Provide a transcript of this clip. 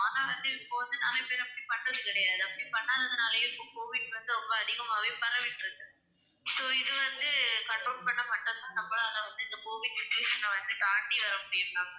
ஆனா வந்து இப்போ வந்து நிறைய பேர் அப்படி பண்றது கிடையாது அப்படி பண்ணாததுனாலயும் இப்ப கோவிட் வந்து ரொம்ப அதிகமாவே பரவிட்டு இருக்கு. so இது வந்து control பண்ணா மட்டும்தான் நம்மளால வந்து இந்தக் கோவிட் infection அ வந்து தாண்டி வர முடியும் ma'am.